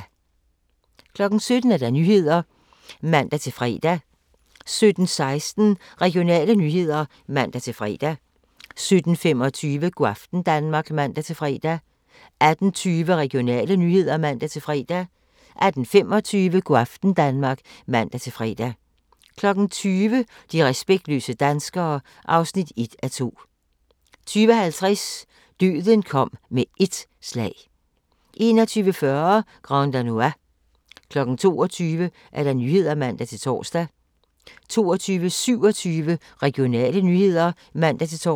17:00: Nyhederne (man-fre) 17:16: Regionale nyheder (man-fre) 17:25: Go' aften Danmark (man-fre) 18:20: Regionale nyheder (man-fre) 18:25: Go' aften Danmark (man-fre) 20:00: De respektløse danskere (1:2) 20:50: Døden kom med ét slag 21:40: Grand Danois 22:00: Nyhederne (man-tor) 22:27: Regionale nyheder (man-tor)